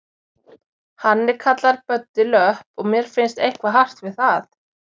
Hann er kallaður Böddi löpp og mér finnst eitthvað hart við það.